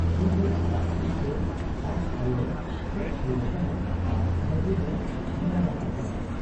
ᱩᱱᱨᱮ ᱟᱡ ᱥᱩᱨᱛᱮ ᱟᱡ ᱟᱭᱚᱭ ᱦᱮᱡ ᱥᱩᱨ ᱟᱠᱟᱱᱟ ᱟᱨ ᱵᱟᱹᱡᱩᱱᱮ ᱴᱷᱮᱞᱟᱣ ᱟᱠᱟᱫ ᱮᱭᱟ ᱾